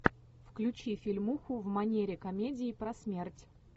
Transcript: включи фильмуху в манере комедии про смерть